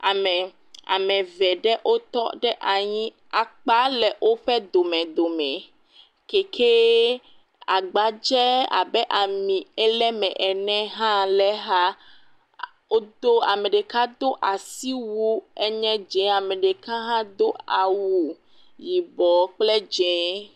Ame, ame eve ɖe wotɔ ɖe anyi akpa le woƒe domedome keke agba tse abe amie le me ene hã le exa, woo ame ɖeka do asi wu ele dzɛ ame ɖeka hã do awu yibɔ kple dzɛ̃.